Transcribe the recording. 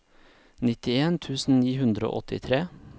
nittien tusen ni hundre og åttitre